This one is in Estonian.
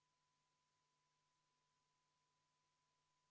Liigume edasi teise muudatusettepaneku juurde, mille on esitanud keskkonnakomisjon.